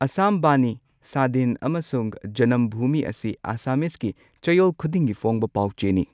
ꯑꯁꯥꯝ ꯕꯥꯅꯤ, ꯁꯥꯗꯤꯟ ꯑꯃꯁꯨꯡ ꯖꯅꯝꯚꯨꯃꯤ ꯑꯁꯤ ꯑꯁꯥꯝꯃꯤꯁꯀꯤꯆꯌꯣꯜ ꯈꯨꯗꯤꯡꯒꯤ ꯐꯣꯡꯕ ꯄꯥꯎꯆꯦꯅꯤ꯫